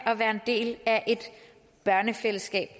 at være en del af et børnefællesskab